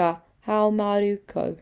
ka haumaru koe